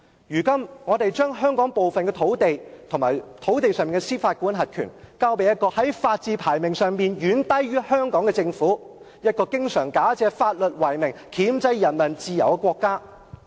如今我們將香港部分土地及土地上的司法管轄權，交予一個在法治排名上遠低於香港、經常假借法律為名，箝制人民自由的國家。